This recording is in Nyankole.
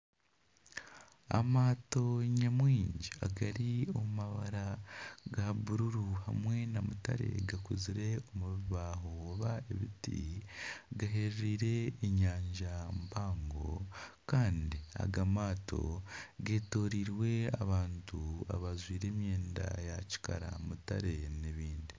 Amaato nyamwingi agari omu mabara ga buruuru hamwe na mutare gakozirwe omu bibaho oba ebiti gaheerire enyanja mpango kandi aga maato getorirwe abantu abajwaire emyenda ya kikara, mutare n'ebindi.